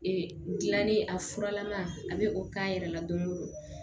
Ee dilanni a furalama a bɛ o k'a yɛrɛ la don o don